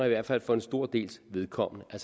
i hvert fald for en stor dels vedkommende har